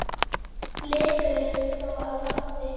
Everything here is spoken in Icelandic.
Blikur eru þó á lofti.